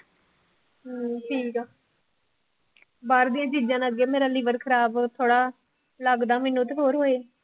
ਹਮ ਠੀਕ ਆ ਬਾਹਰ ਦੀਆਂ ਚੀਜ਼ਾਂ ਨਾਲ ਅੱਗੇ ਮੇਰਾ liver ਖਰਾਬ ਥੋੜ੍ਹਾ ਲੱਗਦਾ ਮੈਨੂੰ ਤੇ ਹੋਰ ਹੋਏ